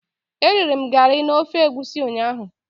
Eriri m garị na ofe egwusi ụnyahụ.